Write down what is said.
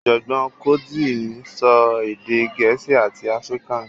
Ọ̀jọ̀gbọ́n Cotzee ń sọ èdè Gẹ̀ẹ́sì àti Afrikaans